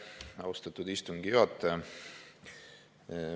Aitäh, austatud istungi juhataja!